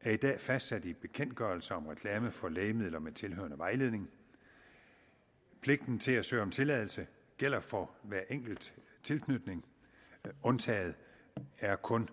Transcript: er i dag fastsat i en bekendtgørelse om reklame for lægemidler med tilhørende vejledning pligten til at søge om tilladelse gælder for hver enkelt tilknytning undtaget er kun